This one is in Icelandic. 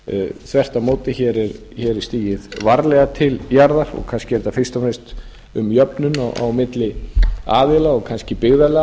þvert á móti er stigið varlega til jarðar og kannski er þetta fyrst og fremst um jöfnun milli aðila og kannski byggðarlaga